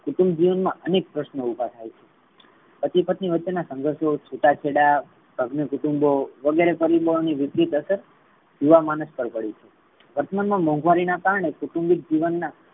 કુટુંબ જીવન મા અનેક પ્રશ્નો ઉભા થાય છે. પતિ પત્ની વચ્ચે ના સંઘર્ષો છુટા છેડા કુટુંબો વગેરે યુવા માણસ પર અસર પડે છે વર્તમાન મા મોંઘવારી ના કારણે કુટુંમ્બીક જીવન મા